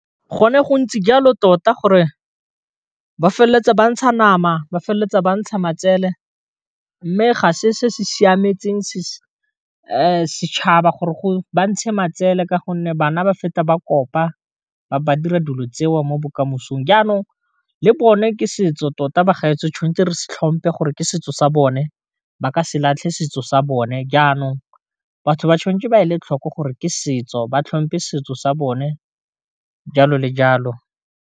Go ne go ntse jalo tota gore ba feleletsa ba ntsha nama ba feleletsa ba ntsha matsele mme ga se se se siametseng se setšhaba gore go ba ntshe matsele ka gonne bana ba feta ba kopa ba ba dira dilo tseo mo bokamosong, jaanong le bone ke setso tota ba gaetsho tshwanetse re se tlhompe gore ke setso sa bone, ba ka se latlhe setso sa bone jaanong batho ba tshwanetse ba e le tlhoko gore ke setso ba tlhompe setso sa bone jalo le jalo.